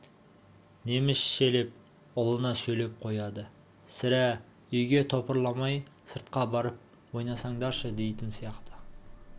немісшелеп ұлына сөйлеп қояды сірә үйге топырламай сыртқа барып ойнасаңдаршы дейтін сияқты